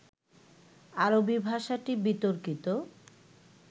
আরবি ভাষাটি বিতর্কিত